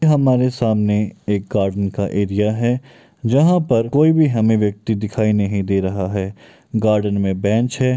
हमारे सामने एक गार्डन का एरिया है जहाँ पर कोई भी हमें व्यक्ति दिखाई नहीं दे रहा है गार्डन में बेंच है।